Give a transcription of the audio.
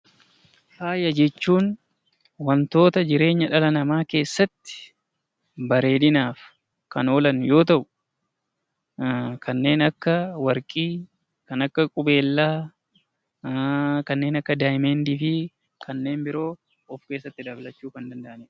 Faaya jechuun wantoota jireenya dhala namaa keessatti bareedinaaf kan oolu yoo ta'u kanneen akka warqii, qubeellaa, deemandii fi kanneen biroo kan of keessatti dabalatanidha.